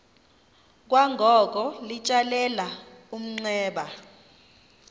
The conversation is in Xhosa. kwangoko litsalele umnxeba